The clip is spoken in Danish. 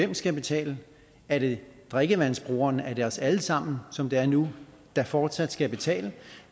man skal betale er det drikkevandsbrugerne er det os alle sammen som det er nu der fortsat skal betale